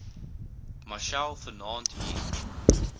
machel vanaand hier